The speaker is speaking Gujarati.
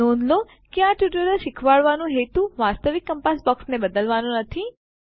નોંધ લો કે આ ટ્યુટોરીયલ શીખવાડવાનો હેતુ વાસ્તવિક કંપાસ બોક્સને બદલવાનો નથી